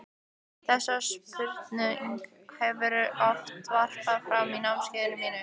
Þessari spurningu hef ég oft varpað fram á námskeiðunum mínum.